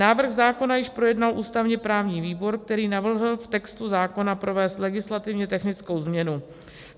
Návrh zákona již projednal ústavně-právní výbor, který navrhl v textu zákona provést legislativně technickou změnu.